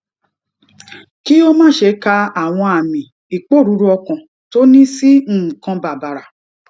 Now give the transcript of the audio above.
kí ó má ṣe ka àwọn àmì iporuru okan tó ní sí nǹkan bàbàrà